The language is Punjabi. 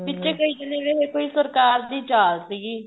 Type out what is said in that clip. ਵਿੱਚੇ ਕਈ ਕਹਿੰਦੇ ਰਹੇ ਕੀ ਕੋਈ ਸਰਕਾਰ ਦੀ ਚਾਲ ਸੀਗੀ